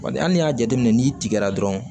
Bari hali n'i y'a jateminɛ n'i tigɛra dɔrɔn